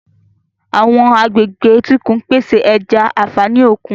Àwọn agbègbè etíkun ń pèsè ẹja, àfààní òkun.